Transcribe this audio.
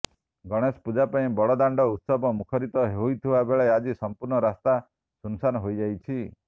ଗଣେଶ ପୂଜା ପାଇଁ ବଡଦାଣ୍ଡ ଉତ୍ସବ ମୁଖରିତ ହୋଇଥିବା ବେଳେ ଆଜି ସଂପୂର୍ଣ୍ଣ ରାସ୍ତା ସୁନ୍ ସାନ୍ ହୋଇଯାଇଛି